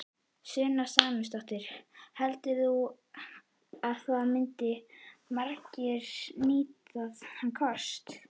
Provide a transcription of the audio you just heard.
Sunna Sæmundsdóttir: Heldurðu að það myndu margir nýta þann kost?